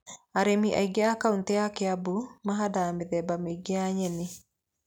Arĩmi aingĩ a kaunitĩ ya Kĩambu mahandaga mĩthemba mĩingĩ ya nyeni.